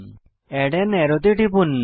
add আন আরো তে টিপুন